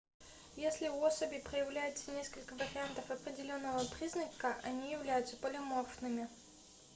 если у особей проявляется несколько вариантов определенного признака они являются полиморфными